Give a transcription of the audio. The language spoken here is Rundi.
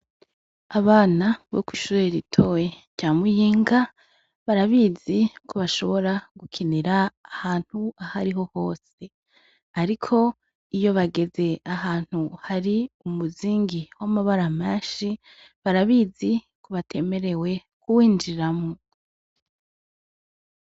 Abana bo kwishure ritoya rya Muyinga barabizi ko bashobora gukinira ahantu ahariho hose, ariko iyo bageze ahantu hari umuzingi wamabara menshi barabizi ko batemerewe kuwinjiramwo.